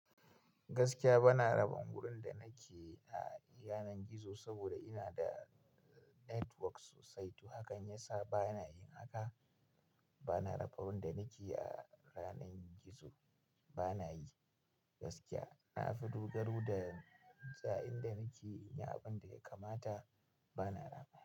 Gaskiya bana rabuwa da wurin da nake a yanar gizo saboda ina da network sosai Hakan yasa bana yin haka. Bana rabuwa da wurin da nake a yanar gizo bana yi gaskiya. Na fi dogaro da intsaya a in da nake in yi abin da ya kamata bana raba.